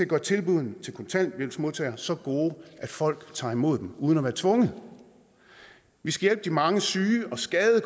gøre tilbuddene til kontanthjælpsmodtagere så gode at folk tager imod dem uden at være tvunget vi skal hjælpe de mange syge og skadede